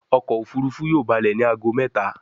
ọkọ̀ òfurufú yóò ba'le ní àgọ méta.